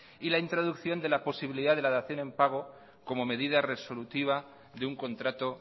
y la introducción de la posibilidad de la dación en pago como medida resolutiva de un contrato